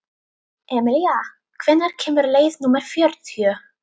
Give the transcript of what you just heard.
Emilía, hvenær kemur leið númer fjörutíu?